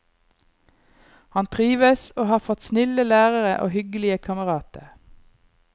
Han trives, og har fått snille lærere og hyggelige kamerater.